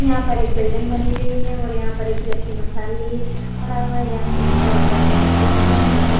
यहां पर एक बिल्डिंग बनी हुई है और यहां पर एक व्यक्ति मसाल लिए खड़ा हुआ है। यहां पर चारों तरफ लाइटें लगी हुई हैं और --